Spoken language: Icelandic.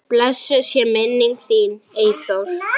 Blessuð sé minning þín, Eyþór.